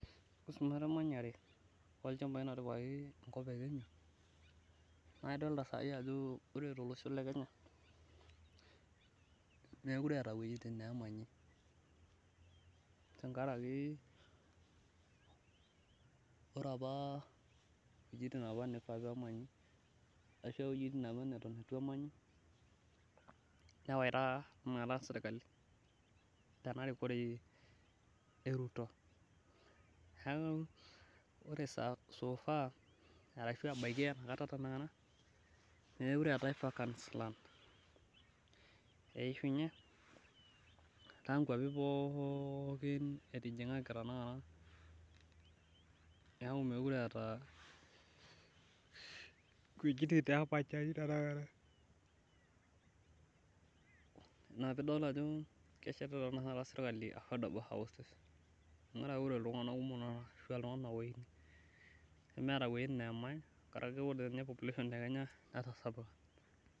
ore sii emanyare oo ilchambai naatipikaki enkop ekenya naa ildooita sai ajo ore tolosho lekenya mookire eetae iwejitin neemanyi, tengaraki ore apa iwejitin neifaa apa nemanyi ashu aa iwejitin apa neton etu emanyi, newaita tenakata serikali tenarikore eruto neeku ore soofaaa ebaki naa enaetanakata mookire eetae vacancies land eishunye etaa inkwapi pooki etijing'aki tenakata, neeku mookire eeta , neeku ina pee idol ajo keshetita tenakata serikali affordable houses, tengaraki ore iltung'anak kumok nemeeta enemany, karaki ore population tekenya netasapuka.